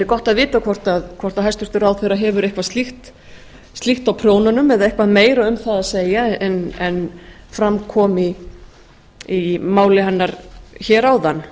gott að vita hvort hæstvirtur ráðherra hefur eitthvað slíkt á prjónunum eða eitthvað meira um það að segja en fram kom í máli hennar hér áðan